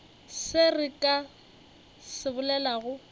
se re ka se bolelago